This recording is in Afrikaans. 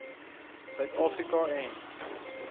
suid afrika en